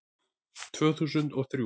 Tvö þúsund og þrjú